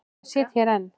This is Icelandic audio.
Og ég sit hér enn.